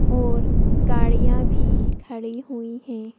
और गाड़ियां भी खड़ी हुई हैं।